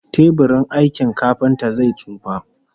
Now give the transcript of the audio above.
Teburin aikin kafinta zai tsufa